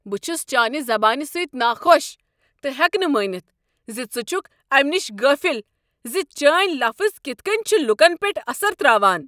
بہٕ چھُس چانہِ زبانہِ سۭتۍ ناخۄش تہٕ ہٮ۪كہٕ نہٕ مٲنِتھ ز ژٕ چھُكھ امہِ نش غٲفِل ز چٲنۍ لفظ كِتھ كٔنۍ چھِ لوٗكن پٮ۪ٹھ اثر تراوان۔